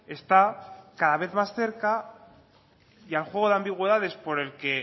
está cada vez más cerca y al juego de ambigüedades por el que